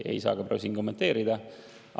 Ei saa siin kommenteerida.